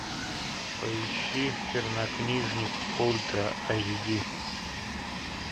поищи чернокнижник ультра эйч ди